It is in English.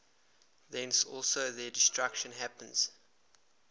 thence also their destruction happens